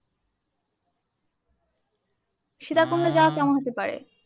সীতাকুণ্ডে যাওয়া কেমন হতে পারে?